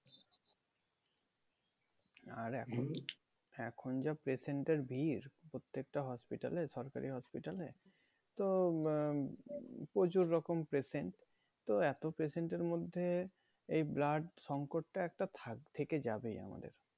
আর এখন যা patient র ভিড় প্রত্যেকটা hospital এ সরকারি hospital এ তো উম আহ প্রচুর রকম patient তো এতো patient এর মধ্যে এই blood সংকট টা একটা থাক~ থেকে যাবেই আমাদের